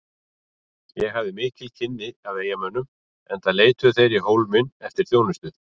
Ég hafði mikil kynni af eyjamönnum enda leituðu þeir í Hólminn eftir þjónustu.